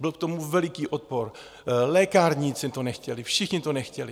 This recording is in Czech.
Byl k tomu veliký odpor, lékárníci to nechtěli, všichni to nechtěli.